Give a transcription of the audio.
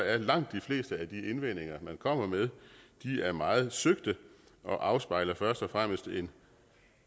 er langt de fleste af de indvendinger man kommer med meget søgte og afspejler først og fremmest en